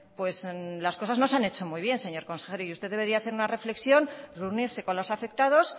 pues las cosas no se han hecho muy bien señor consejero usted debería de hacer una reflexión reunirse con los afectados